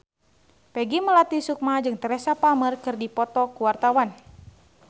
Peggy Melati Sukma jeung Teresa Palmer keur dipoto ku wartawan